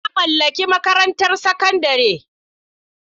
Na mallaki makarantar sakandare.